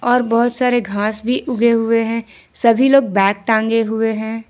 और बहुत सारे घास भी उगे हुए हैं सभी लोग बैग टांगे हुए हैं।